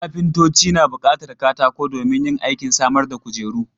Kafintoci na buƙatan katako domin yin aikin samar da kujeru.